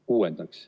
Kuuendaks.